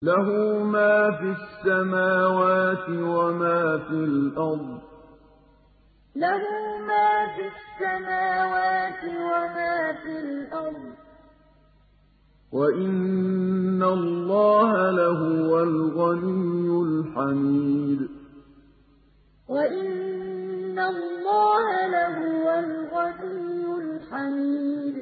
لَّهُ مَا فِي السَّمَاوَاتِ وَمَا فِي الْأَرْضِ ۗ وَإِنَّ اللَّهَ لَهُوَ الْغَنِيُّ الْحَمِيدُ لَّهُ مَا فِي السَّمَاوَاتِ وَمَا فِي الْأَرْضِ ۗ وَإِنَّ اللَّهَ لَهُوَ الْغَنِيُّ الْحَمِيدُ